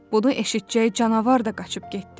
Bunu eşidəcək canavar da qaçıb getdi.